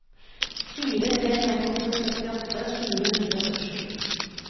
fire tre fem åtte syttiåtte fire hundre og førtisju